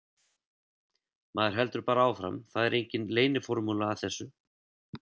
Maður heldur bara áfram, það er engin leyniformúla að þessu.